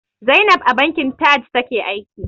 Zainab a bankin Taj take aiki.